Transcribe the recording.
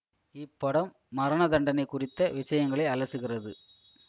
இப்படம் மரணதண்டனை குறித்த விஷயங்களை அலசுகிறது